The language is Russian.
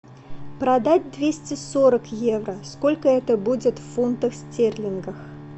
продать двести сорок евро сколько это будет в фунтах стерлингах